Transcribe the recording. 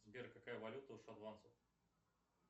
сбер какая валюта у шотландцев